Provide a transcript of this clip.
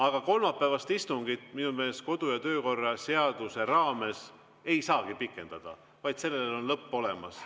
Aga kolmapäevast istungit minu meelest kodu‑ ja töökorra seaduse raames ei saagi pikendada, vaid sellel on lõpp olemas.